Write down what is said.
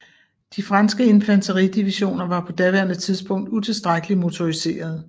De franske infanteridivisioner var på daværende tidspunkt utilstrækkeligt motoriserede